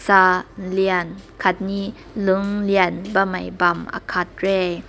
ta lein katni lüng lnei bam mei bam aakat reh.